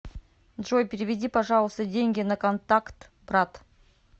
джой переведи пожалуйста деньги на контакт брат